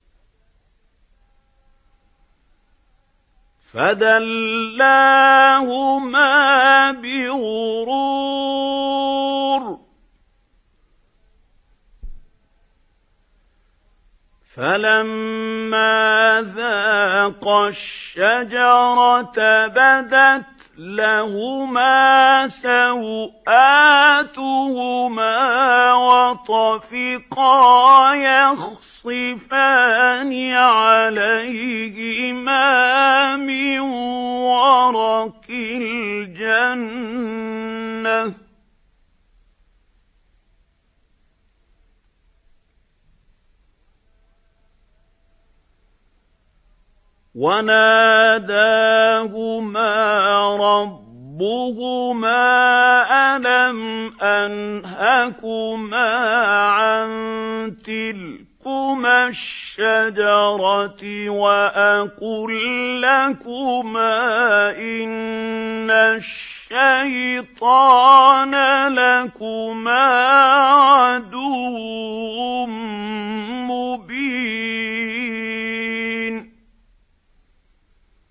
فَدَلَّاهُمَا بِغُرُورٍ ۚ فَلَمَّا ذَاقَا الشَّجَرَةَ بَدَتْ لَهُمَا سَوْآتُهُمَا وَطَفِقَا يَخْصِفَانِ عَلَيْهِمَا مِن وَرَقِ الْجَنَّةِ ۖ وَنَادَاهُمَا رَبُّهُمَا أَلَمْ أَنْهَكُمَا عَن تِلْكُمَا الشَّجَرَةِ وَأَقُل لَّكُمَا إِنَّ الشَّيْطَانَ لَكُمَا عَدُوٌّ مُّبِينٌ